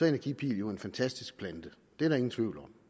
energipil jo en fantastisk plante det er der ingen tvivl om